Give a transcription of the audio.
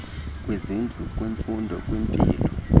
kwizindlu kwimfundo kwimpilo